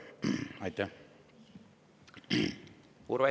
Urve Tiidus, palun!